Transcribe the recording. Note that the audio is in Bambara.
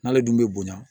N'ale dun bɛ bonya